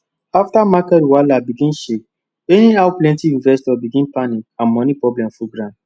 afta market wahala begin shake anyhow plenty investors begin panic and moni problem full ground